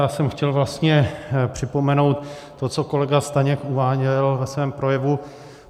Já jsem chtěl vlastně připomenout to, co kolega Staněk uváděl ve svém projevu.